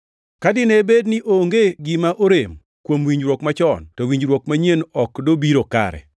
Ka dine bed ni onge gima orem kuom winjruok machon, to winjruok manyien ok dobiro kare.